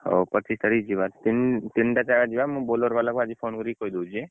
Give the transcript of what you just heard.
ହଉ ପଚିଶ ତାରିଖ ଯିବା ତିନ ତିନଟା ଜାଗାକୁ ଯିବା ମୁଁ Bolero ବାଲା କୁ ଆଜି phone କରିକି କହିଦଉଛି